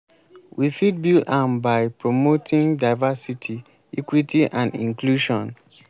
we fit build am by promoting diversity equity and inclusion.